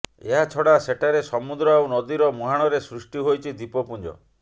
ଏହାଛଡ଼ା ଏଠାରେ ସମୁଦ୍ର ଆଉ ନଦୀର ମୁହାଣରେ ସୃଷ୍ଟି ହୋଇଛି ଦ୍ୱୀପପୁଞ୍ଜ